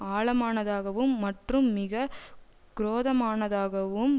ஆழமானதாகவும் மற்றும் மிக குரோதமானதாகவும்